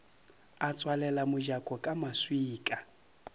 a tswalela mojako ka maswika